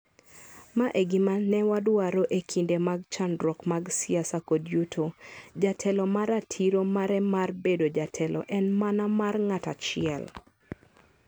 Ma e gima ne wadwaro e kinde mag chandruok mag siasa kod yuto, jatelo ma ratiro mare mar bedo jatelo en mana mar ng'at achiel.